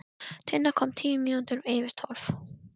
Tinna kom tíu mínútur yfir tólf.